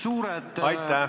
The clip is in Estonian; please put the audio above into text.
Aitäh!